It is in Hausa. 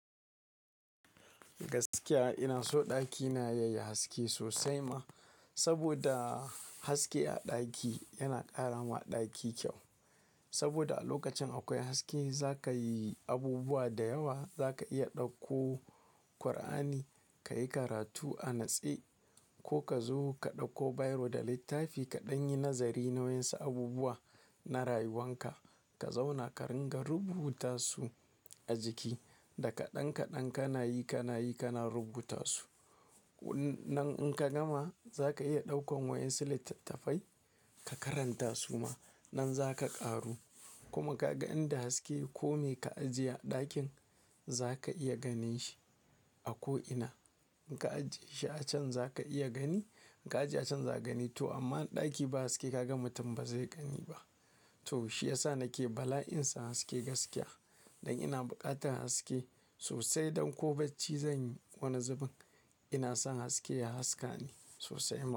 Gaskiya ina so ɗakina yayi haske sosai ma, saboda haske a ɗaki yana ƙara wa ɗaki kyau. Saboda a lokacin akwai haske in zakayi abubuwa da yawa, zaka iya ɗauko Kur'ani kayi karatu a natse ko ka zo ka ɗauko biro da littafi kaɗan yi nazari nauyin su abubuwa na rayuwan ka. Ka zauna ka ringa rubuta su a jiki, daka ɗan-kaɗan ka nayi ka nayi ka na rubuta su. Nan in ka gama zaka iya ɗaukan wa'inc su littafai ka karanta su ma. Nan zaka ƙaru kuma kaga inda haske ko me ka ajiye a ɗakin zaka iya ganin shi a ko ina. In ka ajiye shi a can zaka iya gani, in ka ajiye a can za ka gani. To amma ɗaki ba haske kaga mutum ba zai gani ba. To shi yasa nake bala'in san haske gaskiya. Don ina buƙatar haske sosai don ko bacci zanyi wani zubin ina son haske ya haska ni sosai ma.